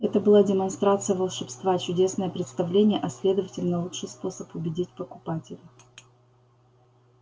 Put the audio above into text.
это была демонстрация волшебства чудесное представление а следовательно лучший способ убедить покупателя